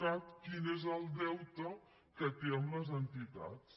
cat quin és el deute que té amb les entitats